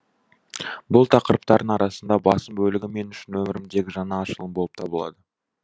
бұл тақырыптардың арасында басым бөлігі мен үшін өмірімдегі жаңа ашылым болып табылады